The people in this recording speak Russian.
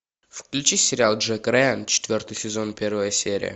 включи сериал джек райан четвертый сезон первая серия